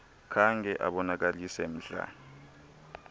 khange abonakalise mdla